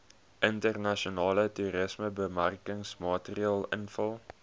internasionale toerismebemarkingsmateriaal invul